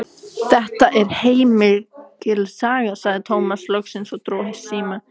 Þetta var heilmikil saga, sagði Tómas loksins og dró seiminn.